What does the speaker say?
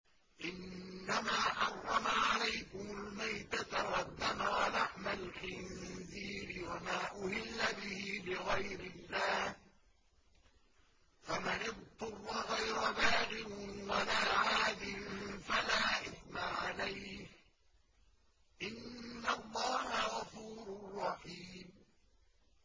إِنَّمَا حَرَّمَ عَلَيْكُمُ الْمَيْتَةَ وَالدَّمَ وَلَحْمَ الْخِنزِيرِ وَمَا أُهِلَّ بِهِ لِغَيْرِ اللَّهِ ۖ فَمَنِ اضْطُرَّ غَيْرَ بَاغٍ وَلَا عَادٍ فَلَا إِثْمَ عَلَيْهِ ۚ إِنَّ اللَّهَ غَفُورٌ رَّحِيمٌ